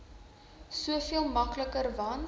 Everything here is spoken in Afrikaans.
soveel makliker want